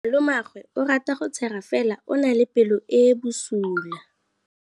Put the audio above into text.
Malomagwe o rata go tshega fela o na le pelo e e bosula.